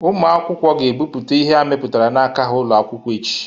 Ụmụ akwụkwọ ga-ebute ihe ha mebputara n'aka ha ụlọ akwụkwọ echi